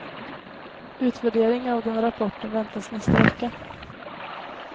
Utvärdering av den rapporten väntas nästa vecka.